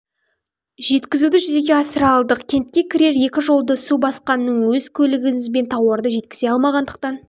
жеткізуді жүзеге асыра алдық кентке кірер екі жолды су басқанның өз көлігімізбен тауарды жеткізе алмағандықтан